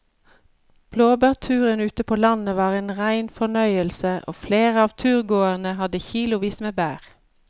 Blåbærturen ute på landet var en rein fornøyelse og flere av turgåerene hadde kilosvis med bær.